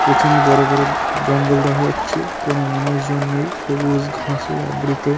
পিছনে বড়ো বড়ো জঙ্গল দেখা যাচ্ছে। কোনো মানুষ জন নেই। সবুজ ঘাসে আবৃত।